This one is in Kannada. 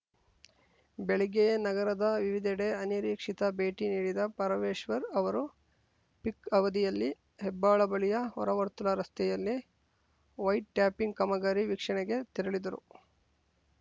ಬೆಳಿಗ್ಗೆಯೇ ನಗರದ ವಿವಿಧೆಡೆ ಅನಿರೀಕ್ಷಿತ ಭೇಟಿ ನೀಡಿದ ಪರಮೇಶ್ವರ್‌ ಅವರು ಪೀಕ್‌ ಅವಧಿಯಲ್ಲಿ ಹೆಬ್ಬಾಳ ಬಳಿಯ ಹೊರವರ್ತುಲ ರಸ್ತೆಯಲ್ಲಿ ವೈಟ್‌ಟ್ಯಾಪಿಂಗ್‌ ಕಾಮಗಾರಿ ವೀಕ್ಷಣೆಗೆ ತೆರಳಿದರು